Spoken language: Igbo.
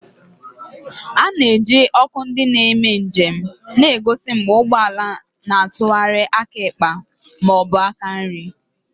A na-eji ọkụ ndị na-eme njem na-egosi mgbe ụgbọ ala na-atụgharị aka ekpe ma ọ bụ aka nri.